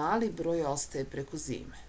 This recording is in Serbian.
mali broj ostaje preko zime